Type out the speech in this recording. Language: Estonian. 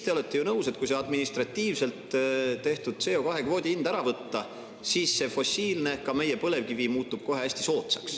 Te olete ju nõus, et kui see administratiivselt tehtud CO2-kvoodi hind sealt ära võtta, siis fossiilne, ka meie põlevkivi, muutub kohe hästi soodsaks.